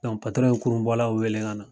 ye kurun bɔlaw wele ka na.